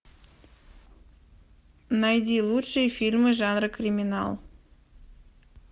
найди лучшие фильмы жанра криминал